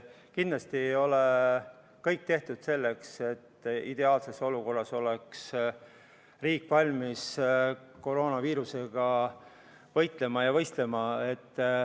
Kindlasti ei ole kõik tehtud selleks, et riik oleks ideaalses olukorras ja valmis koroonaviirusega võitlema ja võistlema.